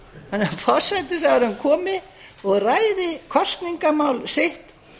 þannig að forsætisráðherra komi og ræði kosningamál sitt